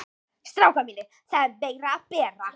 STRÁKAR MÍNIR, ÞAÐ ER MEIRA AÐ BERA.